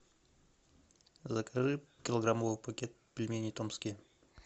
закажи килограммовый пакет пельмени томские